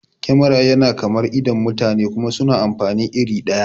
Kemara yana kamar idon mutane kuma suna amfani iri ɗaya